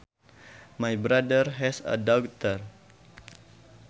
My brother has a daughter